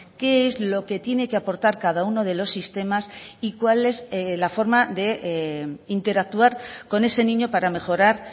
qué es lo que tiene que aportar cada uno de los sistemas y cuál es la forma de interactuar con ese niño para mejorar